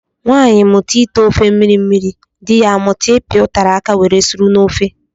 Nwanyi mụta ite ofe mmiri mmiri, dị ya amụta ipi utara áká were suru n'ofe.